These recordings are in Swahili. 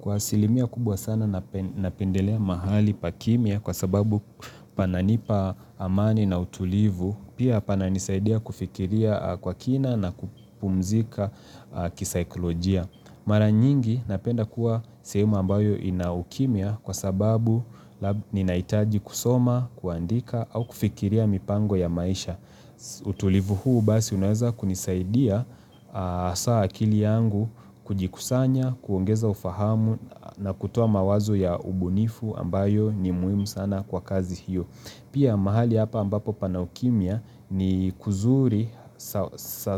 Kwa asilimia kubwa sana napendelea mahali pa kimya kwa sababu pananipa amani na utulivu, pia pananisaidia kufikiria kwa kina na kupumzika kisaikolojia. Mara nyingi napenda kuwa sehemu ambayo ina ukimya kwa sababu ninahitaji kusoma, kuandika au kufikiria mipango ya maisha. Utulivu huu basi unaweza kunisaidia hasa akili yangu kujikusanya, kuongeza ufahamu na kutoa mawazo ya ubunifu ambayo ni muhimu sana kwa kazi hiyo Pia mahali hapa ambapo pana ukimya ni kuzuri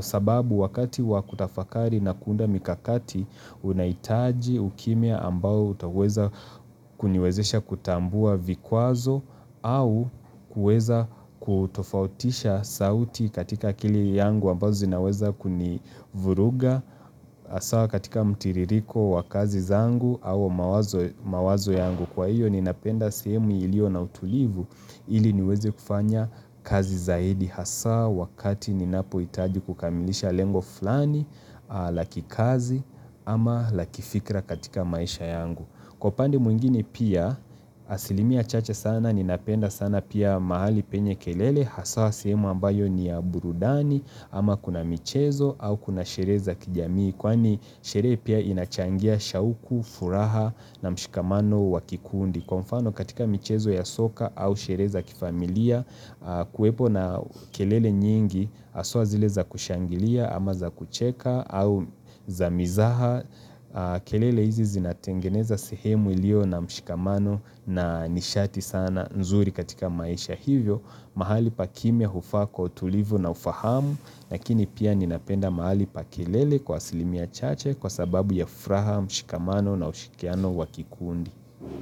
sababu wakati wakutafakari na kuunda mikakati unahitaji ukimya ambao utaweza kuniwezesha kutambua vikwazo au kuweza kutofautisha sauti katika akili yangu ambazo zinaweza kunivuruga hasa katika mtiririko wa kazi zangu au mawazo yangu. Kwa hiyo ninapenda sehemu iliyo na utulivu ili niweze kufanya kazi zaidi hasa wakati ninapohitaji kukamilisha lengo fulani la kikazi ama la kifikra katika maisha yangu. Kwa upande mwingine pia, asilimia chache sana, ninapenda sana pia mahali penye kelele, haswa sehemu ambayo ni ya burudani ama kuna michezo au kuna sherehe za kijamii kwani sherehe pia inachangia shauku, furaha na mshikamano wa kikundi. Kwa mfano katika michezo ya soka au sherehe kifamilia kuwepo na kelele nyingi haswa zile za kushangilia ama za kucheka au za mizaha. Kelele hizi zinatengeneza sehemu iliyo na mshikamano na nishati sana nzuri katika maisha hivyo. Mahali pa kimya hufaa kwa utulivu na ufahamu lakini pia ninapenda mahali pa kelele kwa asilimia chache kwa sababu ya furaha, mshikamano na ushikiano wa kikundi.